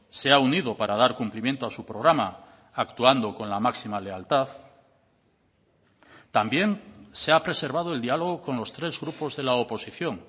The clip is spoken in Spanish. se ha unido para dar cumplimiento a su programa actuando con la máxima lealtad también se ha preservado el diálogo con los tres grupos de la oposición